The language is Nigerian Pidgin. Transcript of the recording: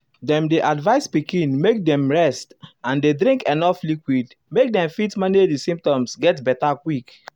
dem dey advise pikin make dem rest and dey drink enuf liquid make dem fit manage di symptoms get beta quick.